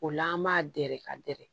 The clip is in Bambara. O la an b'a dɛrɛ ka dɛrɛ